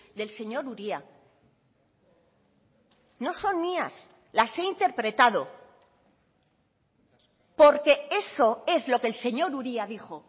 del señor uria no son mías las he interpretado porque eso es lo que el señor uria dijo